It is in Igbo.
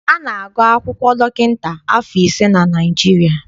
A na-agụ akwụkwọ dọkịta afọ ise na Naịjirịa.